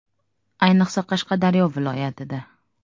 Ayniqsa, Qashqadaryo viloyatida.